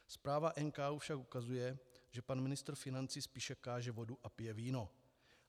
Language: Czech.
Zpráva NKÚ však ukazuje, že pan ministr financí spíše káže vodu a pije víno.